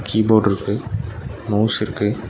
Key போர்டுருக்கு mouse இருக்கு.